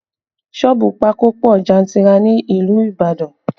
Sọ́ọ̀bù pákó pọ jantirer ní ìlú Ibadan